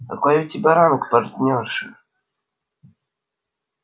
какой у тебя ранг партнёрша